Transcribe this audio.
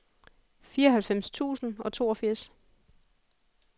fireoghalvfems tusind og toogfirs